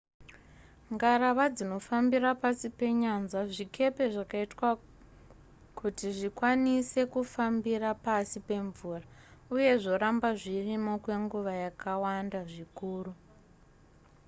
ngarava dzinofambira pasi penyanza zvikepe zvakaitwa kuti zvikwanise kufambira pasi pemvura uye zvoramba zvirimo kwenguva yakawanda zvikuru